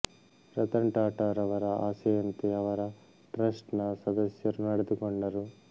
ರತನ್ ಟಾಟಾ ರವರ ಆಸೆಯಂತೆ ಅವರ ಟ್ರಸ್ಟ್ ನ ಸದಸ್ಯರು ನಡೆದುಕೊಂಡರು